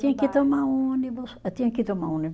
Tinha que tomar um ônibus, eh tinha que tomar